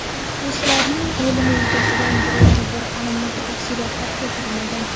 Mahbuslarning o‘limi yuzasidan biror bir aniq tafsilotlar keltirilmagan.